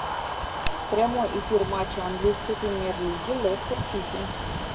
прямой эфир матча английской премьер лиги лестер сити